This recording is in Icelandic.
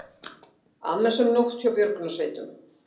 Annasöm nótt hjá björgunarsveitum